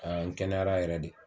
A kɛnɛyara yɛrɛ de.